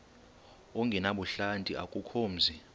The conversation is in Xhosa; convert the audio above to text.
ongenabuhlanti akukho mzi